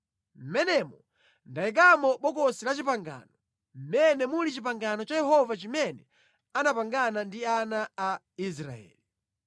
Mʼmenemo ndayikamo Bokosi la Chipangano, mmene muli pangano la Yehova limene anapangana ndi ana a Israeli.”